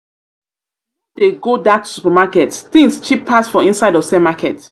no dey go that supermarket things cheap pass for inside ose market